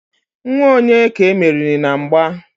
nwa onye ka e meriri na mgba?